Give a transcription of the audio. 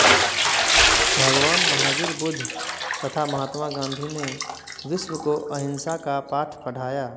भगवान महावीर बुद्ध तथा महात्मा गांधी ने विश्व को अहिंसा का पाठ पढ़ाया